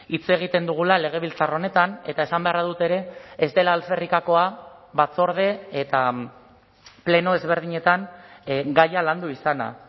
hitz egiten dugula legebiltzar honetan eta esan beharra dut ere ez dela alferrikakoa batzorde eta pleno ezberdinetan gaia landu izana